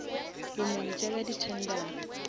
bomenetša bja di tendera